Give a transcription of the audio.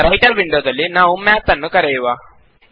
ಈಗ ರೈಟರ್ ವಿಂಡೋದಲ್ಲಿ ನಾವು ಮ್ಯಾತ್ ನ್ನು ಕರೆಯುವ